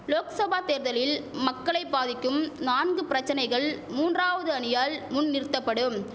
லோக்சபா தேர்தலில் மக்களை பாதிக்கும் நான்கு பிரச்சனைகள் மூன்றாவது அணியால் முன் நிறுத்தபடும்